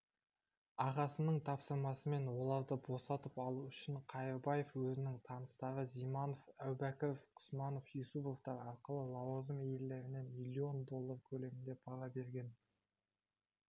ағасының тапсырмасымен оларды босатып алу үшін қайырбаев өзінің таныстары зиманов әубәкіров құсманов юсуповтар арқылы лауазым иелеріне миллион доллар көлімінде пара берген